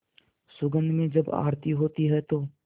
सुगंध में जब आरती होती है तो